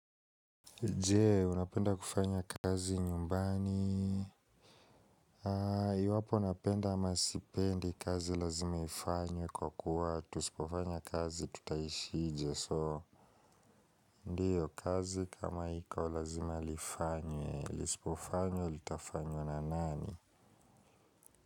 Jee, unapenda kufanya kazi nyumbani? Haa, iwapo napenda ama sipendi kazi lazima ifanywe kwa kuwa, tusipofanya kazi tutaishi ije soo. Ndiyo, kazi kama iko lazima lifanywe, lisipofanywa, lilitafanywa na nani?